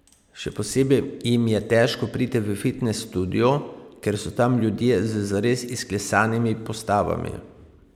Še posebej jim je težko priti v fitnes studio, ker so tam ljudje z zares izklesanimi postavami.